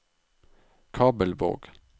Kabelvåg